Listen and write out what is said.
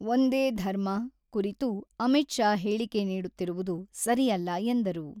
ಒಂದೇ ಧರ್ಮ, ಕುರಿತು ಅಮಿತ್ ಶಾ ಹೇಳಿಕೆ ನೀಡುತ್ತಿರುವುದು ಸರಿಯಲ್ಲ ಎಂದರು.